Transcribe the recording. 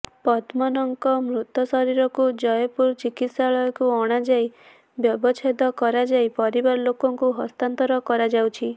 ପଦ୍ମନଙ୍କ ମୃତ ଶରୀରକୁ ଜୟପୁରୁ ଚିକିତ୍ସାଳୟକୁ ଅଣାଯାଇ ବ୍ୟବଚ୍ଛେଦ କରାଯାଇ ପରିବାର ଲୋକଙ୍କୁ ହସ୍ତାନ୍ତର କରାଯାଇଛି